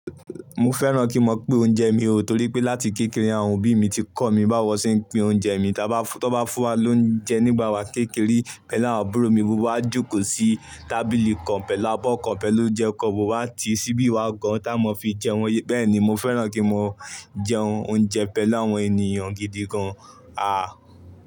Mo fẹ́ràn kí n máa pín oúnjẹ mi, torí pé láti kékeré àwọn òbí mi ti kọ́ mi báwo ṣe ń pín oúnjẹ mi. Tí wọ́n bá fún wa lóúnjẹ nígbà wa kékeré, pẹ̀lú àwọn àbúrò mi gbogbo wá jókòó sí tábìlì kan pẹ̀lú abọ́ kan pẹ̀lú oúnjẹ kan, mo máa ti síbí wa gan-an tí a máa fi jẹ wọ́n. Bẹ́ẹ̀ ni mo fẹ́ràn kí n máa jẹ oúnjẹ pẹ̀lú àwọn ènìyàn gidi gan-an. À.